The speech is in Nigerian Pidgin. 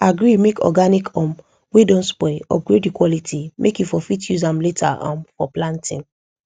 agree make organic um wey don spoil upgrade the quality make you for fit use am later um for planting